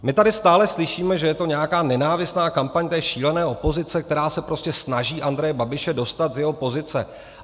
My tady stále slyšíme, že je to nějaká nenávistná kampaň té šílené opozice, která se prostě snaží Andreje Babiše dostat z jeho pozice.